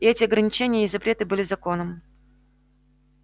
и эти ограничения и запреты были законом